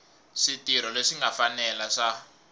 switirho leswi nga fanela swa